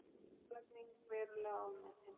Álagning verulega ofmetin